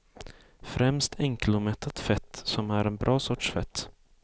Främst enkelomättat fett som är en bra sorts fett.